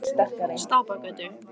Stapagötu